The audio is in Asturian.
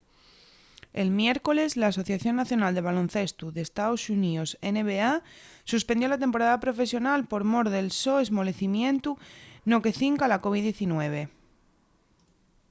el miércoles l'asociación nacional de baloncestu d’estaos xuníos nba suspendió la temporada profesional por mor del so esmolecimientu no que cinca a la covid-19